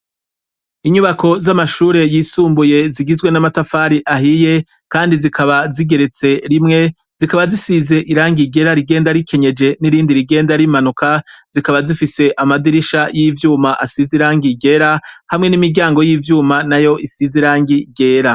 Inyubako z' amashure yisumbuye zigizwe n' amatafari ahiye, kandi zikaba zigeretse rimwe, zikaba zisize irangi ryera rigenda rikenyeje n' irindi rigenda rimanuka, zikaba zifise amadirisha y' ivyuma asize irangi ryera, hamwe n' imiryango y' ivyuma nayo isize irangi ryera.